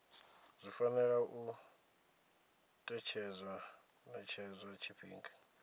zwi fanela u ṅetshedzwa tshifhinga